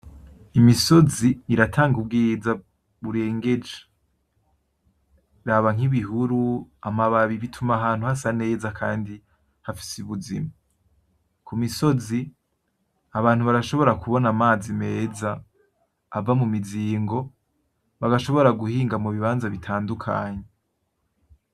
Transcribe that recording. Imisozi iratanga ubwiza burengeje. Raba nk'ibihuru, amababi, bituma ahantu hasa neza kandi hafise ubuzima. Ku misozi, abantu barashobora kubona amazi meza, ava mu mizingo, bagashobora guhinga mu bibanza bitandukanye.